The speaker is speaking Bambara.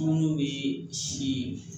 N'o ye si